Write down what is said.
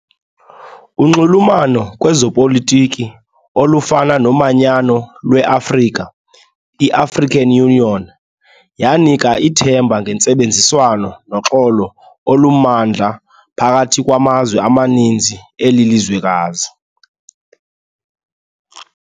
Unxulumano kwezopolitiki olufana nomanyano lweAfrika, i-African Union, yanika ithemba ngentsebenziswano noxolo olumandla phakathi kwamazwe amaninzi eli lizwekazi.